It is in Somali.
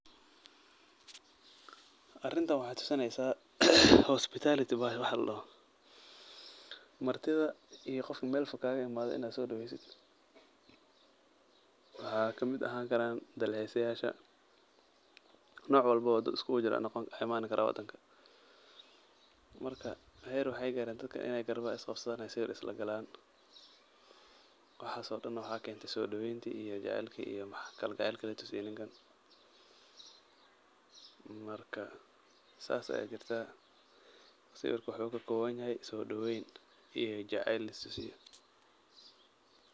Arintan waxaay tusinaysaa hospitality wax ladhaho. Martida iyo qof meel fog kaagaimaadey inn aad soo dhoweeysid. Waxaa kamid ahaan karaan dalxisayaasha, noc walbo oo dad uskugujira noqon waxaa imaan karaa wadanka. Marka, heer waxaay dadka inay garbaha isqabsadaan ay sawir islagalaan. Waxaas oo dhan waxaa keentay soo dhoweyntii iyo jecelkii iyo kalgecelka la tusiyay ninkan. Marka, saas ayaa jirtaa, sawirka waxuu ka koobanyahay soo dhoweeyn iyo jecel latusiyay.